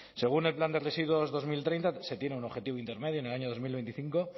según el plan de residuos dos mil treinta se tiene un objetivo intermedio en el año dos mil veinticinco